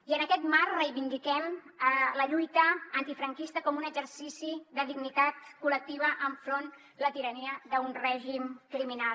i en aquest marc reivindiquem la lluita antifranquista com un exercici de dignitat col·lectiva davant la tirania d’un règim criminal